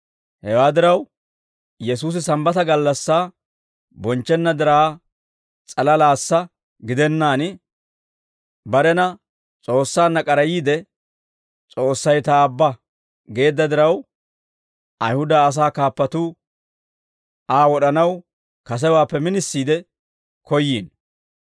Hewaa diraw, Yesuusi Sambbata gallassaa bonchchenna diraa s'alalaassa gidennaan, barena S'oossaanna k'arayiide, «S'oossay ta Aabba» geedda diraw, Ayihuda asaa kaappatuu Aa wod'anaw kasewaappe minisiide koyyiino.